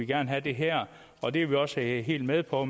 gerne have det her og det er vi også helt med på